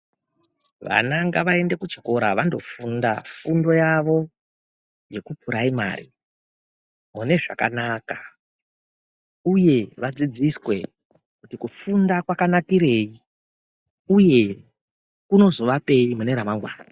Vana ngavaende ku chikora vando funda fundo yavo yeku puraimari mune zvakanaka uye vadzidziswe kuti kufunda kwaka nakirei uye kunozo vapei mune ra mangwana.